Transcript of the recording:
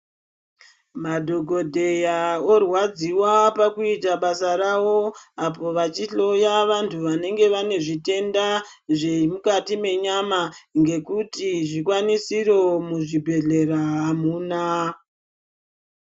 Madhokodheya orwadziwa pakuita basa ravo apo vachihloya vantu vanenge vane zvitenda zvemukati menyama ngekuti zvikwanisiro muzvibhedhlera hamuna.